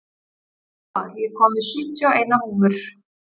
Jóa, ég kom með sjötíu og eina húfur!